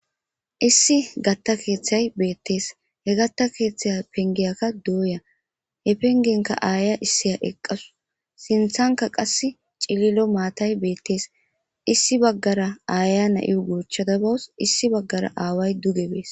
Issi gaththa keeththay beetees. He gaththa keeththa penggiykka dooya he penggiyankka aaya issiya eqqawus ; sinththankka qasse cililo maatay beetees. Issi bagara aayiya na7iyo gochchada bawus issi bagara aaway duge bees.